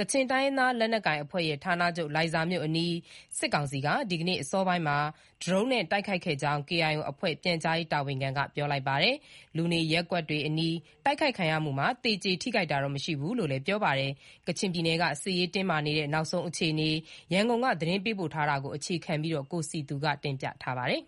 ကချင်တိုင်းရင်းသား လက်နက်ကိုင်အဖွဲ့ရဲ့ ဌာနချုပ် လိုင်ဇာမြို့အနီး စစ်ကောင်စီက ဒီကနေ့ အစောပိုင်းမှာ ဒရုန်းနဲ့တိုက်ခိုက်ခဲ့ကြောင်း KIO အဖွဲ့ ပြန်ကြားရေးတာဝန်ခံက ပြောလိုက်ပါတယ်။ လူနေရပ်ကွက်တွေအနီး တိုက်ခိုက်ခံရမှုမှာ သေကျေထိခိုက်တာတော့ မရှိဘူးလို့လည်း ပြောပါတယ်။ ကချင်ပြည်နယ်က စစ်ရေးတင်းမာနေတဲ့ နောက်ဆုံးအခြေအနေ ရန်ကုန်က သတင်းပေးပို့ ထားတာကို အခြေခံပြီး တင်ပြထားပါတယ်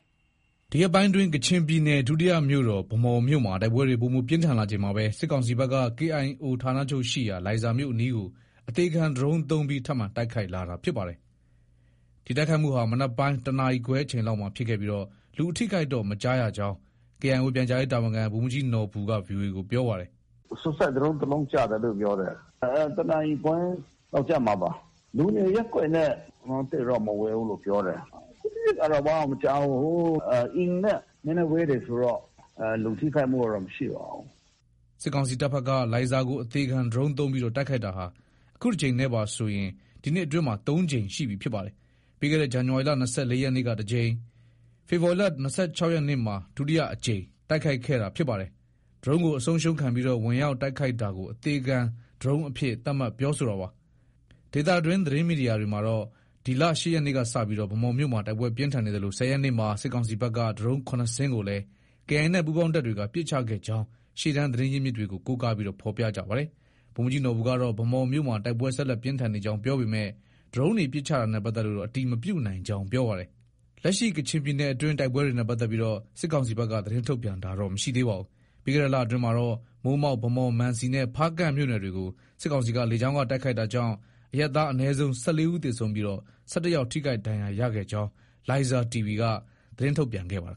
။ ဒီရက်ပိုင်းအတွင်း ကချင်ပြည်နယ် ဒုတိယမြို့တော် ဗန်းမော်မြို့မှာ တိုက်ပွဲတွေ ပိုမို ပြင်းထန်လာချိန် မှာပဲ စစ်ကောင်စီဘက်က KIO ဌာနချုပ်ရှိရာ လိုင်ဇာမြို့အနီးကို အပျက်စီးခံပြီးတိုက်ခိုက်တဲ့ဒရုန်းသုံးပြီး ထပ်မံ တိုက်ခိုက် လာပါတယ်။ ဒီတိုက်ခိုက်မှုဟာ မနက်ပိုင်းတနာရီခွဲလောက်မှာ ဖြစ်ခဲ့ပြီး လူအထိအခိုက်တော့ မကြားရကြောင်း KIO ပြန်ကြားရေးတာဝန်ခံ ဗိုလ်မှူးကြီးနော်ဘူက VOA ကို ပြောပါတယ်။ “Sucide Drone တလုံးကျတယ်လို့ ပြောတယ်။ တနာရီခွဲလောက် ကျမှာပါ။ လူနေရပ်ကွက်နဲ့ သိပ်တော့ မဝေးဘူးလို့ပြောတယ်။ အထိအခိုက်ကတော့ ဘာမှ မကြားဘူး။ အိမ်နဲ့ နည်းနည်းဝေး တယ်ဆိုတော့ လူထိခိုက်မှုကတော့ မရှိပါဘူး။” စစ်ကောင်စီတပ်ဘက်က လိုင်ဇာကို တိုက်ခိုက်ရေးဒရုန်းသုံးပြီး တိုက်ခိုက်တာဟာ အခုတကြိမ်နဲ့ပါဆိုရင် ဒီနှစ်အတွင်းမှာ ၃ကြိမ်ရှိပြီ ဖြစ်ပါတယ်။ ပြီးခဲ့တဲ့ ဇန်နဝါရီလ (၂၄) ရက်နေ့က ပထမအကြိမ်နဲ့ ဖေဖော်ဝါရီလ (၂၆) ရက်နေ့မှာ ဒုတိယအကြိမ် တိုက်ခိုက်ခဲ့တာ ဖြစ်ပါတယ်။ ဒရုန်းကိုအဆုံးရှုံးခံပြီး ဝင်ရောက်တိုက်ခိုက်တာကို အသေခံဒရုန်းအဖြစ် သတ်မှတ်ပြောဆိုတာပါ။ ဒေသတွင်း သတင်းမီဒီယာတွေမှာကတော့ ဒီလ (၈) ရက်နေ့ကစတင်ပြီး ဗန်းမော်မြို့မှာ တိုက်ပွဲ ပြင်းထန်နေသလို (၁၀) ရက်နေ့မှာ စစ်ကောင်စီဘက်က ဒရုန်း (၇) စင်းကိုလည်း KIA နဲ့ ပူးပေါင်းတပ် တွေက ပစ်ချခဲ့ကြောင်း ရှေ့တန်း သတင်းရင်းမြစ်တွေကို ကိုးကား ဖော်ပြကြပါတယ်။ ဗိုလ်မှူးကြီးနော်ဘူကတော့ ဗန်းမော်မှာ တိုက်ပွဲဆက်လက် ပြင်းထန်နေကြောင်း ပြောပေမဲ့ ဒရုန်းတွေ ပစ်ချတာနဲ့ပတ်သက်လို့တော့ အတည်မပြုနိုင်ကြောင်း ပြောပါတယ်။ လက်ရှိ ကချင်ပြည်နယ်တွင်း တိုက်ပွဲတွေနဲ့ပတ်သက်လို့ စစ်ကောင်စီဘက်က သတင်းထုတ်ပြန်တာတော့ မရှိပါဘူး။ ပြီးခဲ့တဲ့လအတွင်းမှာတော့ မိုးမောက်၊ ဗန်းမော်၊ မံစီနဲ့ ဖားကန့် မြို့နယ်တွေကို စစ်ကောင်စီက လေကြောင်းက တိုက်ခိုက်တာကြောင့် အရပ်သား အနည်းဆုံး (၁၄) ဦး သေဆုံးပြီး ၁၁ယောက် ထိခိုက်ဒဏ်ရာရခဲ့ကြောင်း Laiza TV က သတင်းထုတ်ပြန်ခဲ့ပါတယ်